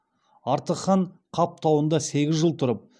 артық хан қап тауында сегіз жыл тұрып